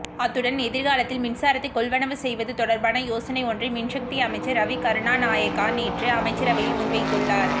அத்துடன் எதிர்காலத்தில் மின்சாரத்தை கொள்வனவு செய்வது தொடர்பான யோசனை ஒன்றை மின்சக்தி அமைச்சர் ரவி கருணாநாயக்க நேற்று அமைச்சரவையில் முன்வைத்துள்ளார்